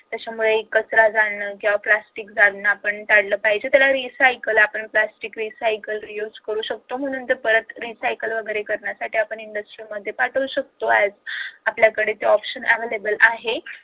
त्याच्यामुळे कचरा जाळन किंवा प्लास्टिक जाळन आपण टाळल पाहिजे त्याला recycle आपण प्लास्टिक recycle reuse करू शकतो म्हणून तर परत recycle वगैरे करण्यासाठी आपण industry मध्ये पाठवू शकतो आपल्याकडे ते option available आहे